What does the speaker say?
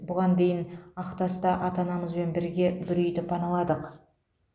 бұған дейін ақтаста ата анамызбен бірге бір үйді паналадық